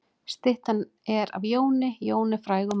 Styttan er af Jóni. Jón er frægur maður.